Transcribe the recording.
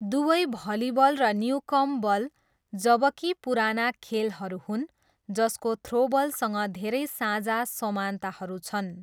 दुवै भलिबल र Newcomb ball, जबकि पुराना खेलहरू हुन्, जसको थ्रोबलसँग धेरै साझा समानताहरू छन्।